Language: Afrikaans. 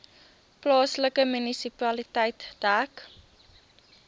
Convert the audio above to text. plaaslike munisipaliteit dek